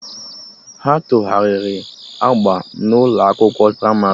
Ha tegharịrị agba na ụlọ akwụkwọ pramarị